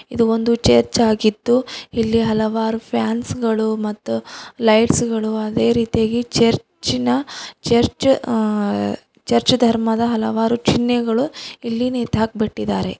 ಇದು ಒಂದು ಚರ್ಚ್ ಆಗಿದ್ದು ಇಲ್ಲಿ ಹಲವಾರು ಫ್ಯಾನ್ಸ್ ಗಳು ಮತ್ತು ಲೈಟ್ಸ್ ಗಳು ಅದೇ ರೀತಿಯಾಗಿ ಚರ್ಚಿ ನ ಚರ್ಚ್ - ಅ- ಚರ್ಚ್ ಧರ್ಮದ ಹಲವಾರು ಚಿನ್ನೆಗಳು ಇಲ್ಲಿ ನೇತಾಕ್ಬಿಟ್ಟಿದ್ದಾರೆ.